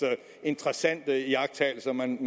interessante iagttagelser man